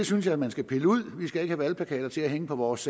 synes jeg man skal pille ud vi skal ikke have valgplakater til at hænge på vores